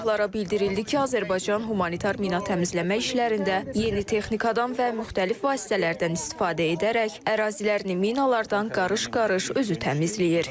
Səyyahlara bildirildi ki, Azərbaycan humanitar mina təmizləmə işlərində yeni texnikadan və müxtəlif vasitələrdən istifadə edərək ərazilərini minalardan qarış-qarış özü təmizləyir.